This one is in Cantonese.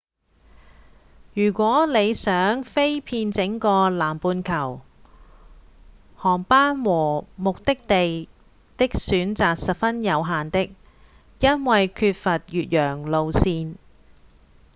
如果你想飛遍整個南半球航班和目的地的選擇十分有限的因為缺乏越洋路線